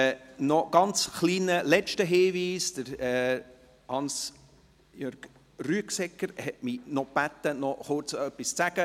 Noch ein kleiner, letzter Hinweis: Hans Jörg Rüegsegger hat mich gebeten, noch etwas zu sagen.